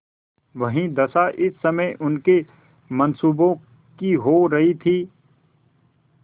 वही दशा इस समय उनके मनसूबों की हो रही थी